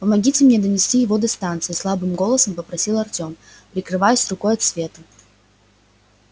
помогите мне донести его до станции слабым голосом попросил артём прикрываясь рукой от света